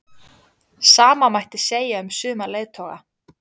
Sama mætti segja um suma leiðtoga